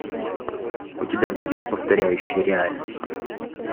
у тебя будет повторяющие реальность